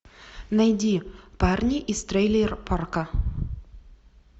найди парни из трейлер парка